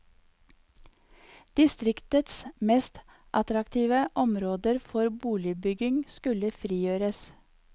Distriktets mest attraktive område for boligbygging skulle frigjøres.